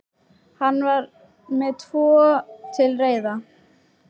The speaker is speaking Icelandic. Hann var með tvo til reiðar.